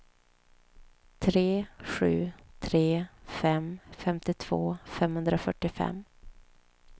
tre sju tre fem femtiotvå femhundrafyrtiofem